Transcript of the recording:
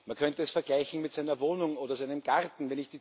Man könnte es vergleichen mit seiner Wohnung oder seinem Garten.